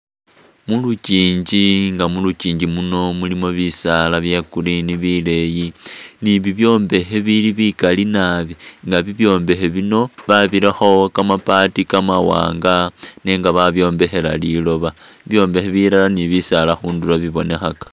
Muluchinji nga muluchinji muno mulimo bisaala bya'green bileyi ni'bibyombekhe bili bikaali naabi nga bibyombekhe bino babirakho kamambati kamawanga nenga babyombekhela liloba bibyombekhe bilala ni bisaala khundulo bibonekhaka